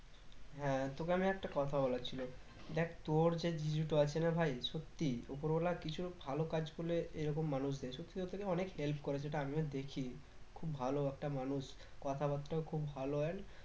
হ্যাঁ তোকে আমি একটা কথা বলার ছিল দেখ তোর যে জিজু টা আছে না ভাই সত্যি উপরওয়ালা কিছু ভালো কাজ করলে এরকম মানুষ দেয় সত্যি কথা কি অনেক help করে যেটা আমিও দেখি খুব ভালো একটা মানুষ কথা বার্তাও খুব ভালো আর